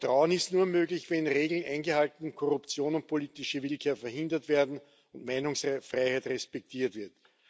Vertrauen ist nur möglich, wenn Regeln eingehalten, Korruption und politische Willkür verhindert werden und Meinungsfreiheit respektiert wird.